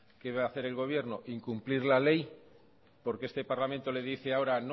qué va a hacer el gobierno incumplir la ley porque este parlamento le dice ahora